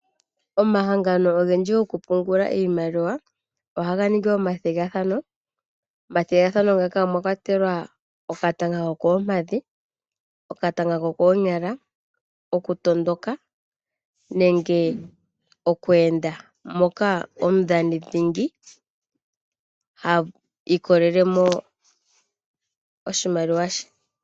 Omahangano ogendji goku pungula iimaliwa ohaga ningi omagathigathano, omathigathano ngaka omwa kwatelwa ofatana hokoompadhi, okatanga kokoonyala, oku tondoka, nenge okweenda, moka omudhani dhingi ha ilikolelemo oshimaliwa she.